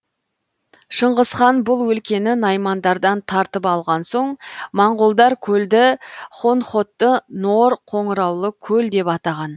шыңғысхан бұл өлкені наймандардан тартып алған соң моңғолдар көлді хонхотты нор қоңыраулы көл деп атаған